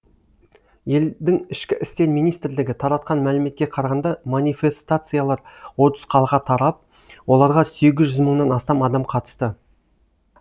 елдің ішкі істер министрлігі таратқан мәліметке қарағанда манифестациялар отыз қалаға тарап оларға сегіз жүз мыңнан астам адам қатысты